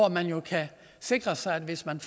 man jo kan sikre sig at hvis man